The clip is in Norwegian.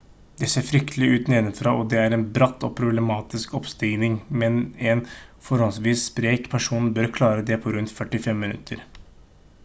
det ser fryktelig ut nedenfra og det er en bratt og problematisk oppstigning men en forholdsvis sprek person bør klare det på rundt 45 minutter